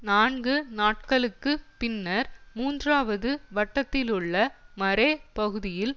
நான்கு நாட்களுக்கு பின்னர் மூன்றாவது வட்டத்திலுள்ள மரே பகுதியில்